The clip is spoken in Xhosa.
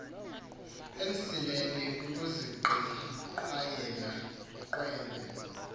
emsileni kukuziqhwayela ukhwembe